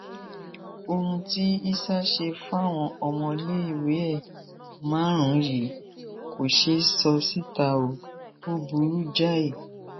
ohun tí isah ṣe fáwọn ọmọléèwé ẹ márùnún yìí kò ṣeé sọ síta o ò burú jáì